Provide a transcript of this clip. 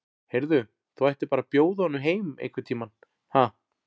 Heyrðu. þú ættir bara að bjóða honum heim einhvern tíma, ha.